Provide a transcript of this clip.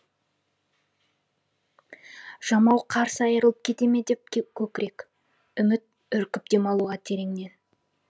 жамау қарс айрылып кете ме деп көкірек үміт үркіп демалуға тереңнен